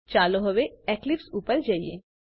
ચાલો હવે એક્લિપ્સ ઉપર જઈએ